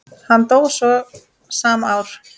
Hann dó svo sama ár.